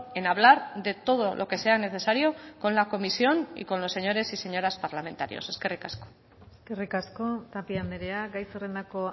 en hablar de todo lo que sea necesario con la comisión y con los señores y señoras parlamentarios eskerrik asko eskerrik asko tapia andrea gai zerrendako